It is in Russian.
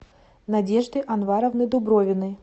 надежды анваровны дубровиной